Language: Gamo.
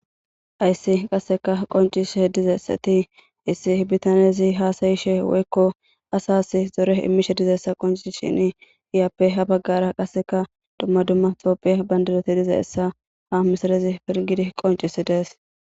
Ayssi qasseka qoncishe dizeessati issi bitanezi haasayishe woykko asas zore immishe dizeessa qoncishin iyappe habaggara qasseka dumma dumma topphiya bandiroti dizaessa hamisarezi pirgidi qoncisi dees.